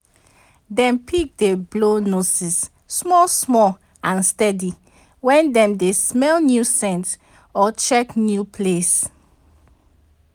dem pig d blow noses small small and steady wen dem dey smell new scent or check new place